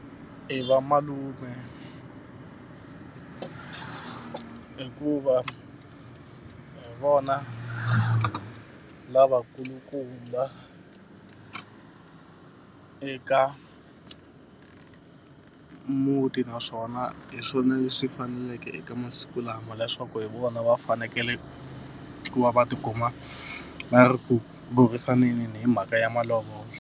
I va malume hikuva hi vona lavakulukumba eka muti naswona hi swona leswi faneleke eka masiku lama leswaku hi vona va fanekele ku va va ti kuma va ri ku burisaneni hi mhaka ya malovolo.